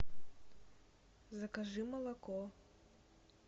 закажи молоко